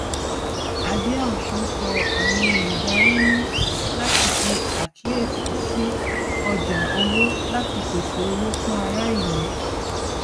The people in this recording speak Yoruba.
adeosun sọ àwọn olùdarí ní láti ṣe àkíyèsí sí ọjà owó láti pèsè owó fún ará ìlú